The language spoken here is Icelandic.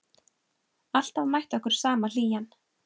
Alltaf mætti okkur sama hlýjan.